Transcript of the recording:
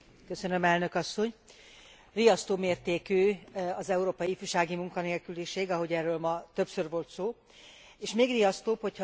Riasztó mértékű az európai ifjúsági munkanélküliség, ahogy erről ma többször volt szó, és még riasztóbb, hogyha az átlagos adatok mögé nézünk.